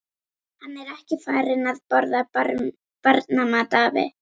Hann er ekki farinn að borða barnamat, afi.